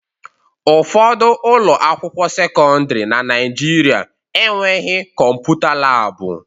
Ụfọdụ ụlọ akwụkwọ sekọndrị na Naijiria enweghị kọmputa laabụ.